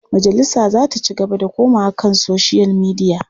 Majalisa za ta ci gaba da komawa kan soshiyal midiya.